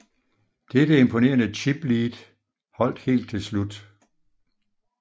Dette imponerende chiplead holdt helt til slut